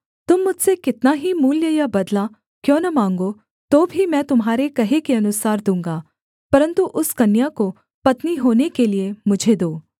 तुम मुझसे कितना ही मूल्य या बदला क्यों न माँगो तो भी मैं तुम्हारे कहे के अनुसार दूँगा परन्तु उस कन्या को पत्नी होने के लिये मुझे दो